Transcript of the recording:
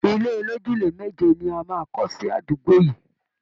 Ilé olójúlé méje ni a máa kọ́ sí àdúgbò yìí